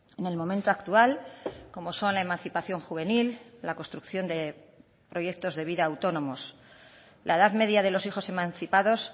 en el momento actual como son la emancipación juvenil la construcción de proyectos de vida autónomos la edad media de los hijos emancipados